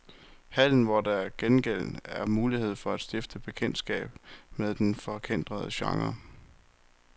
Hallen, hvor der til gengæld er mulighed for at stifte bekendtskab med den forkætrede genre.